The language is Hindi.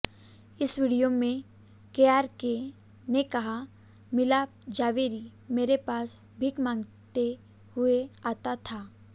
इस विडियो में केआरके ने कहा मिलाप ज़ावेरी मेरे पास भीख मांगते हुए आता था